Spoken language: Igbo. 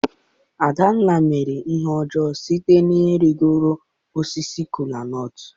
adanna mere ihe ojoo site n'igoro osisi kola nut.